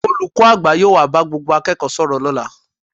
Olùkọ́ àgbà yóò wá bá gbogbo akẹ́kọ̀ọ́ sọ̀rọ̀ lọ́la